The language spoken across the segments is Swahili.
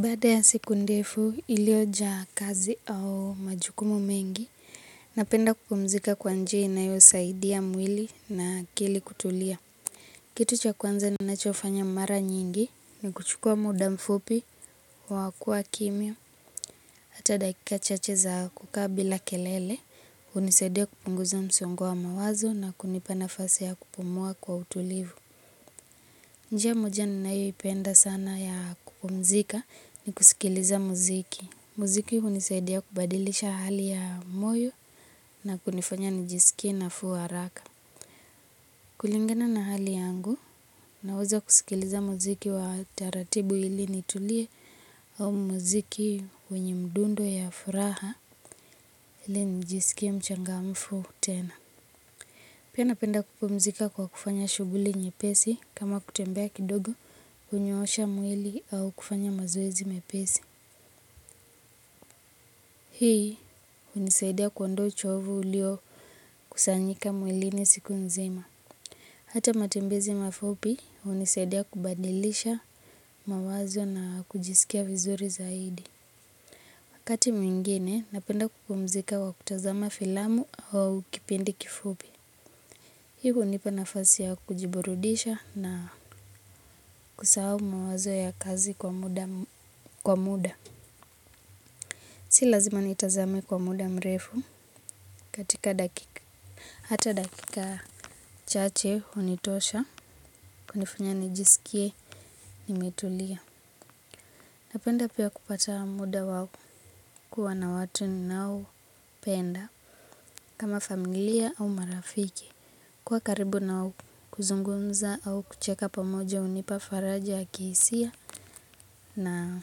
Baada ya siku ndefu iliojaa kazi au majukumu mengi, napenda kupumzika kwa njia inayosaidia mwili na akili kutulia. Kitu cha kwanza ninachofanya mara nyingi ni kuchukua muda mfupi wa kua kimya, hata dakika chache za kukaa bila kelele, hunisaidia kupunguza msongo wa mawazo na kunipa nafasi ya kupumua kwa utulivu. Njia moja ninayoipenda sana ya kupumzika ni kusikiliza muziki. Muziki hunisaidia kubadilisha hali ya moyo na kunifanya nijiskie nafuu haraka. Kulingana na hali yangu, naweza kusikiliza muziki wa taratibu ili nitulie au muziki wenye mdundo ya furaha ili njiskie mchangamfu tena. Pia napenda kupumzika kwa kufanya shughuli nyepesi kama kutembea kidogo hunyoosha mwili au kufanya mazoezi mepesi. Hii hunisaidia kuondoa uchovu uliokusanyika mwilini siku nzima. Hata matembezi mafupi hunisaidia kubadilisha mawazo na kujiskia vizuri zaidi. Wakati mwingine napenda kupumzika kwa kutazama filamu au kipindi kifupi. Hii hunipa nafasi ya kujiburudisha na kusahau mawazo ya kazi kwa muda. Si lazima nitazame kwa muda mrefu katika dakika. Hata dakika chache hunitosha kunifanya nijiskie nimetulia. Napenda pia kupata muda wao kuwa na watu ninaopenda. Kama familia au marafiki. Kuwa karibu nao kuzungumza au kucheka pamoja hunipa faraja ya kihisia na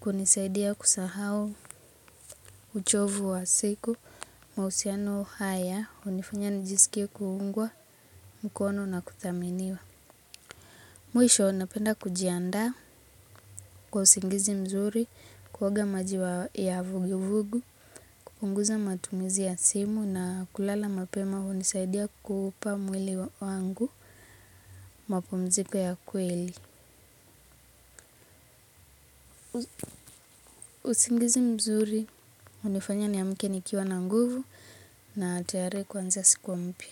kunisaidia kusahau uchovu wa siku mahusiano haya hunifanya nijiskie kuungwa mkono na kuthaminiwa. Mwisho napenda kujiandaa kwa usingizi mzuri kuoga maji ya vuguvugu, kupunguza matumizi ya simu na kulala mapema hunisaidia kuupa mwili wangu mapumziko ya kweli. Usingizi mzuri hunifanya niamke nikiwa na nguvu na tayari kuanza siku mpya.